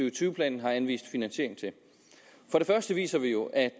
og tyve planen har anvist finansiering til for det første viser vi jo at